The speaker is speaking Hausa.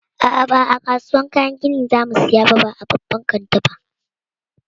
A'a, ba a kasuwan kayan gini za mu saya ba a babban kanti ba.